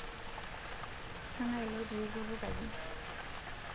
kengae ilo otii kutukaji